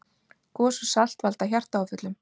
Gos og salt valda hjartaáföllum